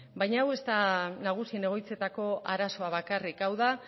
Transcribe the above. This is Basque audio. baina hau ez da nagusien egoitzetako arazoa bakarrik hau da